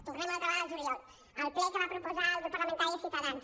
tornem una altra vegada al juliol al ple que va proposar el grup parlamentari de ciutadans